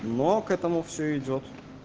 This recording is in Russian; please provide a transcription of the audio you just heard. но к этому все идёт